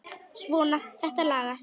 Svona, þetta lagast